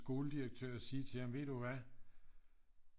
Skoledirektør og så sige til ham ved du hvad